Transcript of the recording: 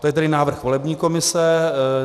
To je tedy návrh volební komise.